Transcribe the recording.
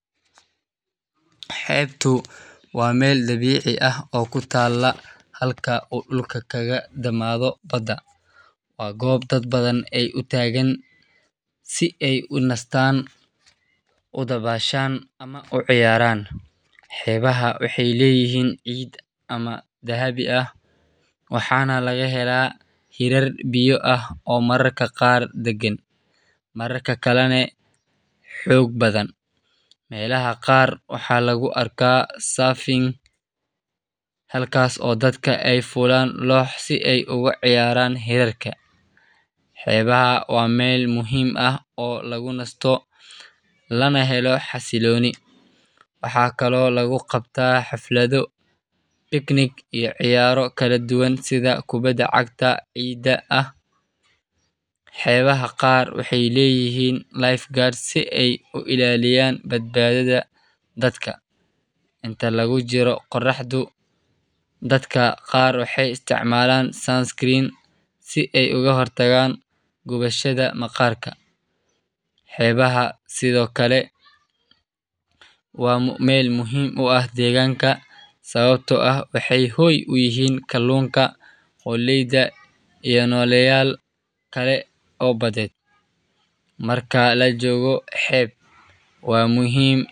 Xebtu waa meel dabici ah oo kutala halka oo dulka kaga damadho baada, waa gob dad badan ee utagan si ee u nistan ama ee u ciyaran, xibaha waxee leyihin ciid ama dahabi ah mararka kalane xog badan, xebaha waa meel muhiim ah oo lagu nasto, xibaha qar waxee leyahan gubashaada maqarka, xibada waxee muhiim utahay marka lajogo xeb waa muhiim.